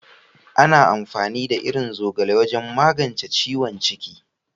Ana amfani da irin zogale wajen magance ciwon ciki.